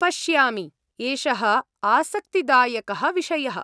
पश्यामि। एषः आसक्तिदायकः विषयः।